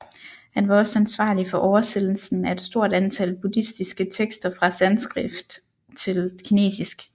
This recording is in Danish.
Han var også ansvarlig for oversættelsen af et stort antal buddhistiske tekster fra sanskrit til kinesisk